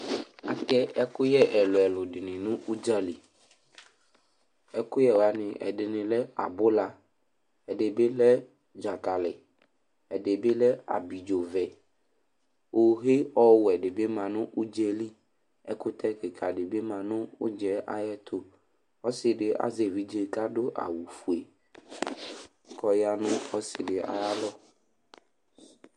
Atɛ ɛkʋyɛ ɛlʋ-ɛlʋ dɩnɩ nʋ ʋdza li Ɛkʋyɛ wanɩ, ɛdɩnɩ lɛ abʋla, ɛdɩ bɩ lɛ dzakalɩ, ɛdɩ bɩ lɛ abidzovɛ Ohe ɔwɛ dɩ bɩ ma nʋ ʋdza yɛ li Ɛkʋtɛ kɩka dɩ bɩ ma nʋ ʋdza yɛ ayɛtʋ Ɔsɩ dɩ azɛ evidze kʋ adʋ awʋfue kʋ ɔya nʋ ɔsɩ dɩ ayalɔ